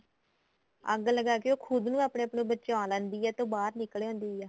ਅੱਗ ਲੱਗਾ ਕੇ ਉਹ ਖੁਦ ਨੂੰ ਆਪਣੇ ਆਪ ਨੂੰ ਬਚਾ ਲੈਂਦੀ ਏ ਤੇ ਉਹ ਬਾਹਰ ਨਿਕਲ ਆਂਦੀ ਏ